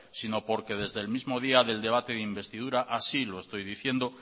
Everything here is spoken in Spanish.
sino porque desde le mismo día del debate de investidura así lo estoy diciendo